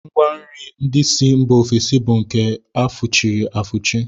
Ngwanri ndị si mba ofesi bụ nke a fụchiri afụchi